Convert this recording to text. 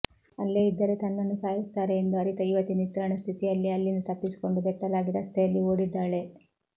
ಅಲ್ಲೇ ಇದ್ದರೆ ತನ್ನನ್ನು ಸಾಯಿಸುತ್ತಾರೆ ಎಂದು ಅರಿತ ಯುವತಿ ನಿತ್ರಾಣ ಸ್ಥಿತಿಯಲ್ಲೇ ಅಲ್ಲಿಂದ ತಪ್ಪಿಸಿಕೊಂಡು ಬೆತ್ತಲಾಗಿ ರಸ್ತೆಯಲ್ಲಿ ಓಡಿದ್ದಾಳೆ